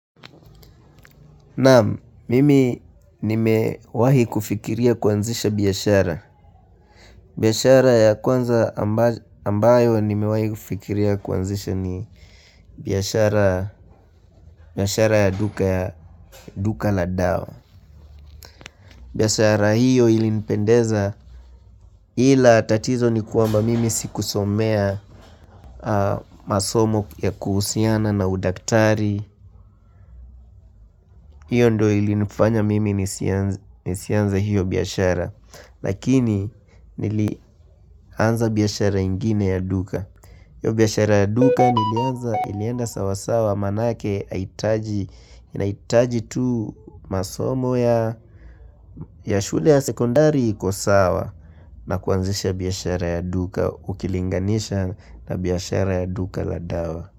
Naam mimi nime wahi kufikiria kuanzisha biashara biashara ya kwanza ambaz, ambayo nimewahi kufikiria kuanzisha ni biashara biashara ya duka ya duka la dawa biashara hiyo ilinipendeza ila tatizo ni kwamba mimi sikusomea, aa masomo ya kuhusiana na udaktari Iyo ndio ilinifanya mimi nisianz nisianze hiyo biashara Lakini nili anza biashara ingine ya duka biashara ya duka nilianza ilienda sawa sawa manake aitaji Inaitaji tu masomo ya shule ya sekondari iko sawa na kuanzisha biashara ya duka ukilinganisha na biashara ya duka la dawa.